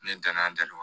Ne donna a dali